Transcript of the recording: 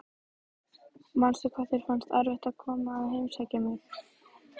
Manstu hvað þér fannst erfitt að koma að heimsækja mig?